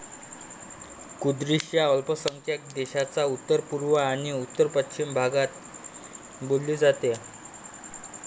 Kurdish या अल्पसंख्यांक देशाच्या उत्तरपुर्व आणि उत्तरपाश्चीम भागात बोलली जाते.